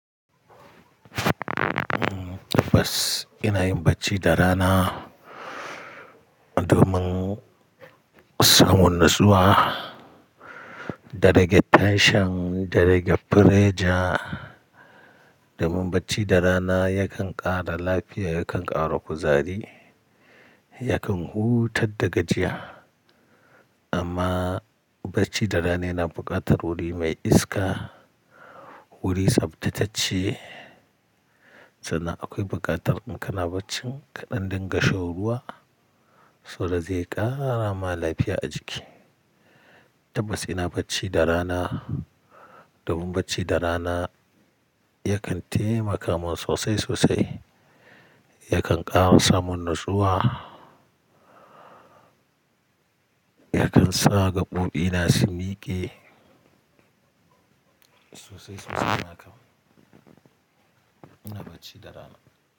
Tabbas ina yin bacci da rana domin samun natsuwa, da rage tension, da rage pressure. Domin bacci da rana yakan ƙara lafiya, yakan ƙara kuzari, yakan hutar da gajiya. Amma bacci da rana yana buƙatar wuri mai iska, wuri tsaftattace, sannan akwai buƙatar in kana bacci ka ɗan dinga shan ruwa saboda zai ƙara ma lafiya a jiki. Tabbas ina bacci da rana domin bacci da rana yakan taimaka mun sosai sosai, yakan ƙara sa mun natsuwa, yakan sa gaɓoɓina su miƙe sosai sosai. Ina bacci da rana.